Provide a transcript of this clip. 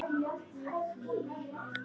Hringdi í mig eftir þátt.